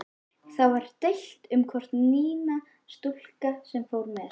Það var deilt um hvort Nína, stúlkan sem fór með